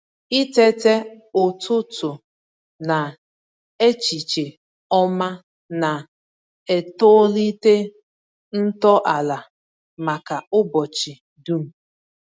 Itete ụtụtụ na echiche ọma na-etolite ntọala maka ụbọchị dum.